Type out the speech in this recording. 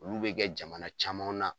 Olu bi kɛ jamana camanw na